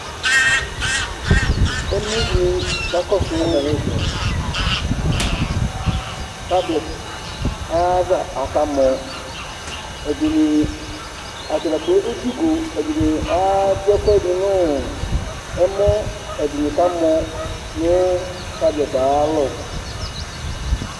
Emloɖìŋí kakɔsu tablet ayʋ ava, akamɔ Atadza kplo edzi ʋgo Ɛɖìní aɖu ɛkʋɛɖi ŋu ɛmɔ Ɛɖìní kamɔ ŋu tablet ayʋ alɔ